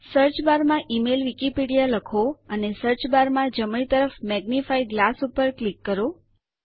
search bar માં email Wikipedia લખો અને સર્ચ બાર માં જમણી તરફ મેગ્નિફાઇંગ ગ્લાસ ઉપર ક્લિક કરો